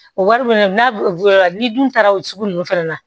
O wari fɛnɛ n'a bɔra ni dun taara o sugu ninnu fana na